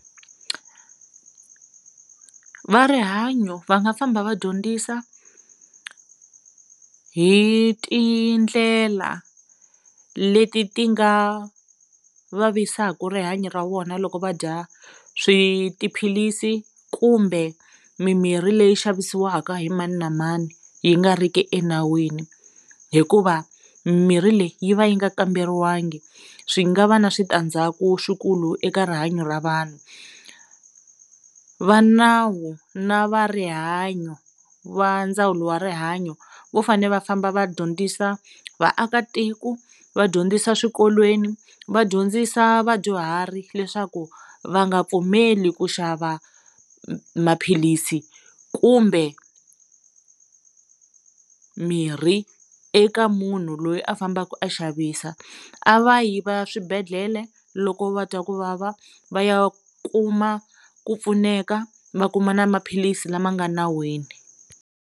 Va rihanyo va nga famba va dyondzisa hi tindlela leti ti nga vavisaka rihanyo ra vona loko va dya swi tiphilisi kumbe mimirhi leyi xavisiwaka hi mani na mani yi nga riki enawini hikuva mimirhi leyi yi va yi nga kamberiwangi swi nga va na switandzhaku swikulu eka rihanyo ra vanhu, va nawu na va rihanyo va ndzawulo wa rihanyo vo fane va famba va dyondzisa vaakatiko va dyondzisa eswikolweni va dyondzisa vadyuhari leswaku va nga pfumeli ku xava maphilisi kumbe mirhi eka munhu loyi a fambaka a xavisa a va yi va ya swibedhlele loko va twa ku vava va ya kuma ku pfuneka va kuma na maphilisi lama nga nawini.